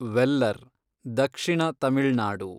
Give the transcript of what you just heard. ವೆಲ್ಲರ್, ದಕ್ಷಿಣ ತಮಿಳ್ ನಾಡು